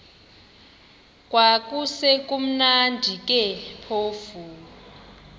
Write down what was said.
kwakusekumnandi ke phofu